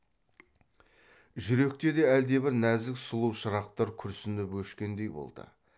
жүректе де әлдебір нәзік сұлу шырақтар күрсініп өшкендей болды